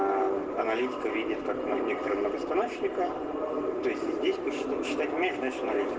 аналитика видел так много некоторых станочника двести десять шестьсот шестьдесят миллионов